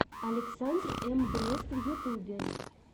александр эм брест в ютубе